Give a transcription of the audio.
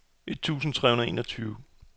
et tusind tre hundrede og enogtyve